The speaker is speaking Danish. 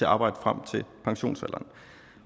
arbejde frem til pensionsalderen